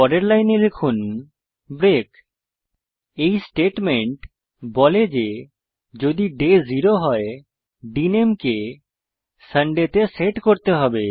পরের লাইনে লিখুন ব্রেক এই স্টেটমেন্ট বলে যে যদি ডে 0 হয় ডিএনএমই কে সান্ডে তে সেট করতে হবে